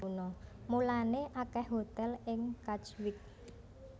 Mulané akèh hotèl ing Katwijk